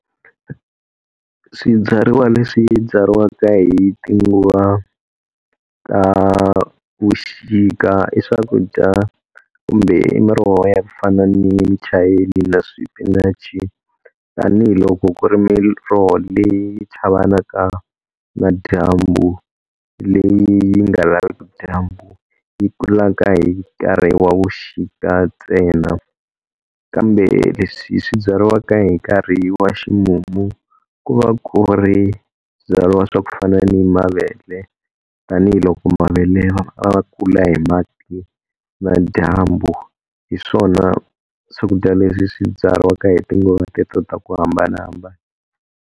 Swibyariwa leswi byariwaka hi tinguva ta vuxika i swakudya kumbe i miroho ya ku fana ni muchayeni na swipinachi, tanihiloko ku ri miroho leyi chavaka na dyambu leyi nga laveki dyambu yi kulaka hi nkarhi wa vuxika ntsena. Kambe leswi swi byariwaka hi nkarhi wa ximumu ku va ku byariwa swa ku fana ni mavele tanihiloko mavele ma kula hi mati na dyambu hi swona swakudya leswi swi byariwaka hi tinguva teto ta ku hambanahambana.